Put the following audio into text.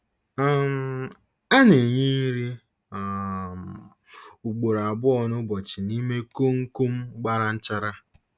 um A na-enye nri um ugboro abụọ n'ụbọchị n'ime koonkom gbara nchara.